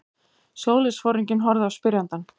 Sjóliðsforinginn horfði á spyrjandann.